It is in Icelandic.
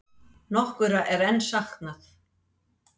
Nokkurra er enn saknað.